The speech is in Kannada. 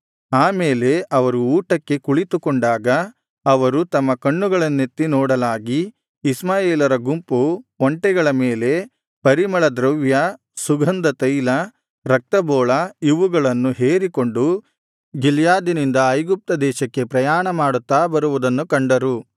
ಆ ಮೇಲೆ ಅವರು ಊಟಕ್ಕೆ ಕುಳಿತುಕೊಂಡಾಗ ಅವರು ತಮ್ಮ ಕಣ್ಣುಗಳನ್ನೆತ್ತಿ ನೋಡಲಾಗಿ ಇಷ್ಮಾಯೇಲರ ಗುಂಪು ಒಂಟೆಗಳ ಮೇಲೆ ಪರಿಮಳ ದ್ರವ್ಯ ಸುಗಂಧ ತೈಲ ರಕ್ತಬೋಳ ಇವುಗಳನ್ನು ಹೇರಿಕೊಂಡು ಗಿಲ್ಯಾದಿನಿಂದ ಐಗುಪ್ತದೇಶಕ್ಕೆ ಪ್ರಯಾಣಮಾಡುತ್ತಾ ಬರುವುದನ್ನು ಕಂಡರು